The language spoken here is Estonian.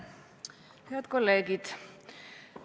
Head kolleegid!